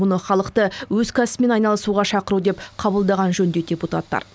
мұны халықты өз кәсібімен айналысуға шақыру деп қабылдаған жөн дейді депутаттар